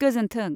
गोजोनथों।